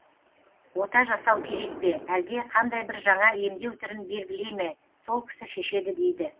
ота жасау керек пе әлде қандай бір жаңа емдеу түрін белгілей ме сол кісі шешеді дейді